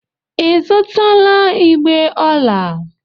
Ị zụtala igbè ọla?